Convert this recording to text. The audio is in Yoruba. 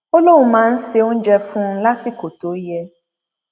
ó lóun máa ń se oúnjẹ fún un lásìkò tó yẹ